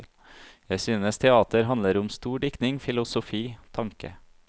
Jeg synes teater handler om stor diktning, filosofi, tanke.